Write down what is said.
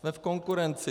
Jsme v konkurenci.